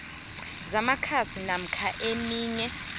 zamakhasi namkha eminye